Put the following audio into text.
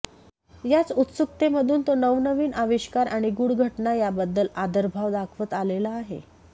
याच उत्सुकतेमधून तो नवनवीन आविष्कार आणि गूढ घटना यांबद्दल आदरभाव दाखवत आलेला आहे